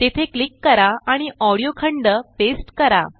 तेथे क्लिक करा आणिऑडीओ खंड पेस्ट करा